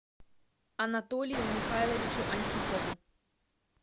анатолию михайловичу антипову